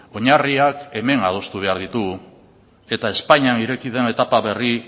oinarriak hemen adostu behar ditugu eta espainian ireki den etapa berri